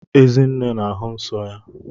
Ezinne na-ahụ nsọ ya.